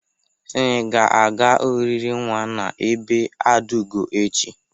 Snyị ga-aga oriri nwa n'ebe Adaugo echi.